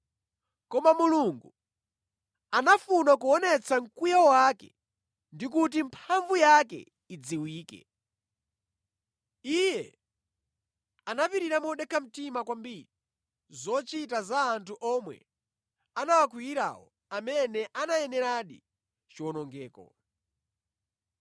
Koma Mulungu, anafuna kuonetsa mkwiyo wake ndi kuti mphamvu yake idziwike. Iye anapirira modekha mtima kwambiri zochita za anthu omwe anawakwiyirawo amene anayeneradi chiwonongeko.